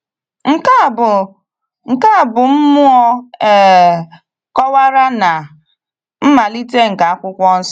Nke a bụ Nke a bụ mmụọ e kọ̀wara na mmalite nke Akwụkwọ Nsọ.